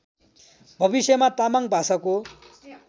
भविष्यमा तामाङ भाषाको